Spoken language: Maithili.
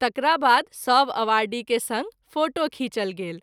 तकराबाद सभ आवर्डी के संग फोटो खींचल गेल।